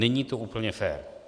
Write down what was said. Není to úplně fér.